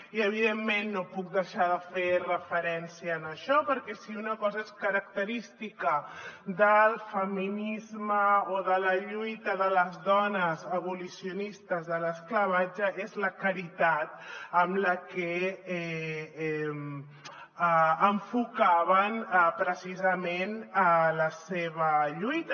i evidentment no puc deixar de fer referència a això perquè si una cosa és característica del feminisme o de la lluita de les dones abolicionistes de l’esclavatge és la caritat amb la que enfocaven precisament la seva lluita